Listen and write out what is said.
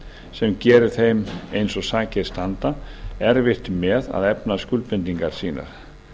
sem gerir þeim eins og sakir standa erfitt með að efna skuldbindingar sínar